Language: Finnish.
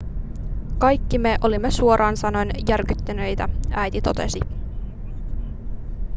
kaikki me olimme suoraan sanoen järkyttyneitä äiti totesi